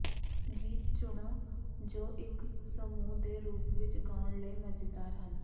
ਗੀਤ ਚੁਣੋ ਜੋ ਇੱਕ ਸਮੂਹ ਦੇ ਰੂਪ ਵਿੱਚ ਗਾਉਣ ਲਈ ਮਜ਼ੇਦਾਰ ਹਨ